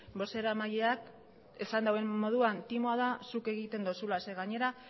bozeramaileak esan dauen moduan timoa da zuk egiten dozuna zeren gainera